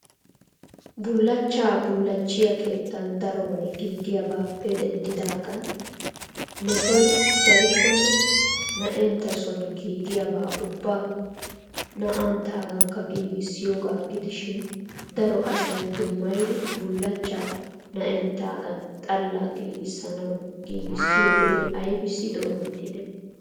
Bullachcha bullachchiya keettan darobay giigiyaabappe denddidagan mettoy darikkonne na"eenttasoon giigiyaba ubba na"anttaagankka giigissiyooga gidishin daro asay dummayidi bullachcha na"enttagan xalla giigissuwa giigisiyooge aybissi doometide?